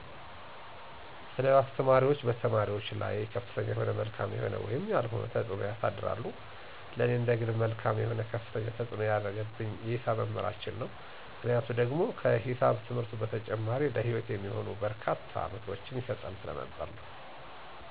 የተለያዩ አስተማሪዎች በተማሪዎች ላይ ከፍተኛ የሆነ መልካም የሆነ ወይም ያልሆነ ተፅዕኖ ያሳድራሉ። ለኔ እንደግል መልካም የሆነ ከፍተኛ ተፅዕኖ ያረገብኝ የሂሳብ መምህር ነው፤ ምክንያቱ ደግሞ ከሂሳብ ትምህርቱ በተጨማሪ ለሂወት የሚሆኑ በርካታ ምክሮችን ይሰጠኝ ስለነበር ነው።